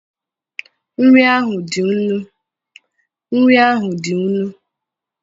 nri ahụ dị nnu